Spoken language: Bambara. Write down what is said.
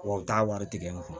Wa u t'a wari tigɛ n kun